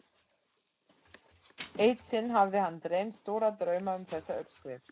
Eitt sinn hafði hann dreymt stóra drauma um þessa uppskrift.